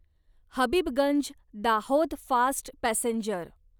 Habibganj Dahod fast passenger